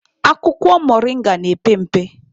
Akwụkwọ moringa na-epe mpe.